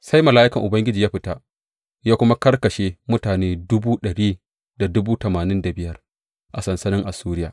Sai mala’ikan Ubangiji ya fita ya kuma karkashe mutane dubu ɗari da dubu tamanin da dubu biyar a sansanin Assuriya.